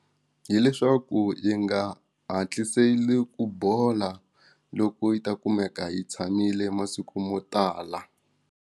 Hi leswaku yi nga hatliseli ku bola loko yi ta kumeka yi tshamile masiku mo tala.